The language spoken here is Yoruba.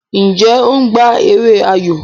Njé o gbà èrè ayọ?